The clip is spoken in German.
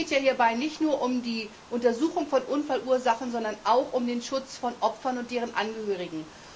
Es geht hierbei nicht nur um die Untersuchung von Unfallursachen, sondern auch um den Schutz von Opfern und deren Angehörigen.